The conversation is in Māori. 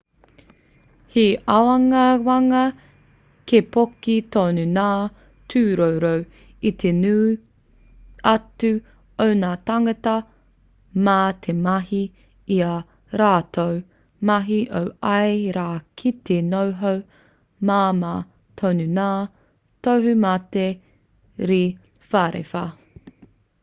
he āwangawanga kei poke tonu ngā tūroro i te nui atu o ngā tāngata mā te mahi i ā rātou mahi o ia rā ki te noho māmā tonu ngā tohumate rewharewha